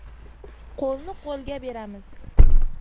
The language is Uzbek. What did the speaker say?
q o‘lni q o‘lga beramiz !